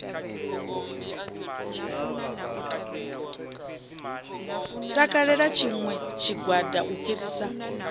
takalela tshiṋwe tshigwada u fhirisa